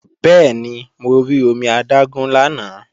Bẹ́ẹ̀ni, mo rí omi adágún lánàá